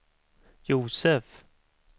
Josef